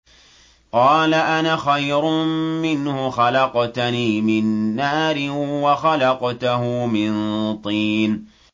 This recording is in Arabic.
قَالَ أَنَا خَيْرٌ مِّنْهُ ۖ خَلَقْتَنِي مِن نَّارٍ وَخَلَقْتَهُ مِن طِينٍ